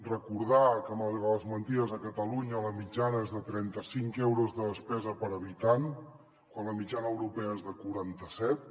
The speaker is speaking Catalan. recordar que malgrat les mentides a catalunya la mitjana és de trenta cinc euros de despesa per habitant quan la mitjana europea és de quaranta set